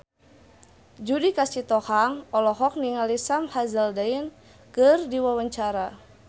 Judika Sitohang olohok ningali Sam Hazeldine keur diwawancara